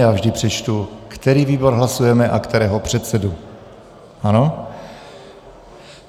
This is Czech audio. Já vždy přečtu, který výbor hlasujeme a kterého předsedu, ano?